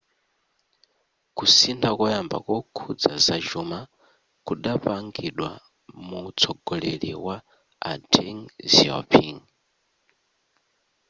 kusintha koyamba kokhuza zachuma kudapangidwa muwutsogoleri wa a deng xiaoping